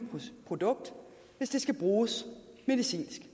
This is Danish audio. produkt hvis det skal bruges medicinsk det